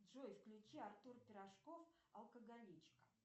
джой включи артур пирожков алкоголичка